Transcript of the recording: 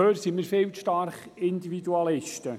Dazu sind wir viel zu sehr Individualisten.